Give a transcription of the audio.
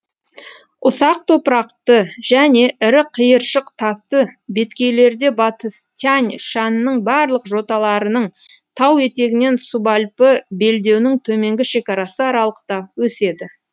ұсақ топырақты және ірі қиыршық тасты беткейлерде батыс тянь шаньның барлық жоталарының тау етегінен субальпі белдеуінің төменгі шекарасы аралықта өседі